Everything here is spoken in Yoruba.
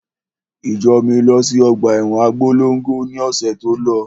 Ìjọ mi lọ sí ọgbà ẹwọn Abólongo ni ọ̀sẹ̀ tí ó.